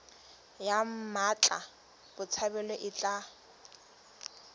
ya mmatla botshabelo e tla